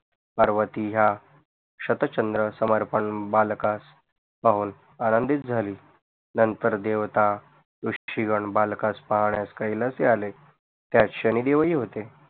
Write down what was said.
पार्वती या शतचन्द्र समर्पण बालकास पाहून आनंदित झाली नंतर देवता रुशीगण बालकास पाहण्यास कैलाशी आले त्यात शनि देवही होते